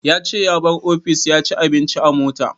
Ya ce ya bar office ya ci abinci a mota